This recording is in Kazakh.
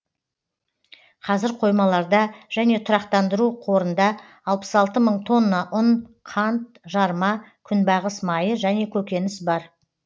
қазір қоймаларда және тұрақтандыру қорында алпыс алты мың тонна ұн қант жарма күнбағыс майы және көкөніс бар